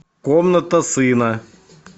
комната сына